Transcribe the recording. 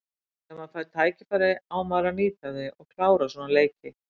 Þegar maður fær tækifæri á maður að nýta þau og klára svona leiki.